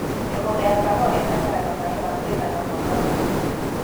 Mĩgũnda ya kahũa ĩbataraga maĩ ma kũigana mwaka mũgima.